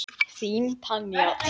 Þín Tanja.